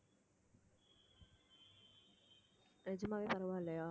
நிஜமாவே பரவாயில்லையா